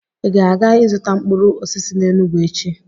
Ị ga-aga ịzụta mkpụrụ osisi n'Enugwu echi